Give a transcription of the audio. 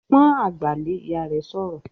"Pọ́n àgbà lé!", Ìyá rẹ̀ sọ̀rọ̀